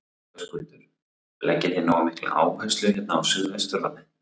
Höskuldur: Leggið þið nógu mikla áherslu hérna á suðvesturhornið?